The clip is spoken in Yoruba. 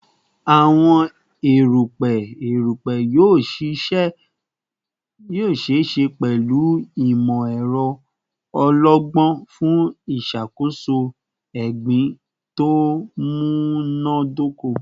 Awọn erupẹ erupẹ yoo ṣee ṣe pẹlu imọ-ẹrọ ọlọgbọn fun iṣakoso egbin to munadoko